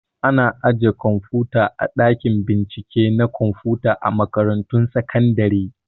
Ana ajiye kwamfuta a ɗakin bincike na kwamfuta a makaratun sakandare